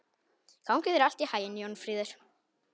Gangi þér allt í haginn, Jónfríður.